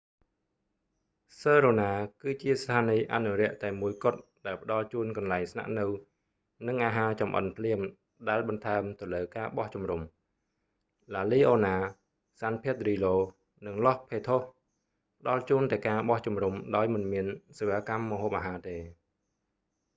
សឺរូណា sirena គឺជាស្ថានីយ៍អនុរក្សតែមួយគត់ ដែលផ្តល់ជូន កន្លែងស្នាក់នៅ និងអាហារចម្អិនភ្លាម ដែលបន្ថែមទៅលើការបោះជំរុំ ឡាលីអូណា la leona សាន ភែតឌ្រីឡូ san pedrillo និងឡស់ផេថូស los patos ផ្តល់ជូនតែការបោះជំរុំដោយមិនមានសេវាកម្មម្ហូបអាហារទេ